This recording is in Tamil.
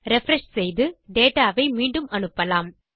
ரிஃப்ரெஷ் செய்து டேட்டா வை மீண்டும் அனுப்பலாம்